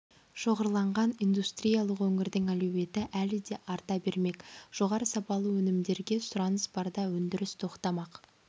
шоғырланған индустриялық өңірдің әлеуеті әлі де арта бермек жоғары сапалы өнімдерге сұраныс барда өндіріс тоқтамақ